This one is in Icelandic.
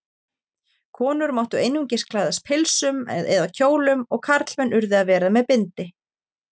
Konur máttu einungis klæðast pilsum eða kjólum og karlmenn urðu að vera með bindi.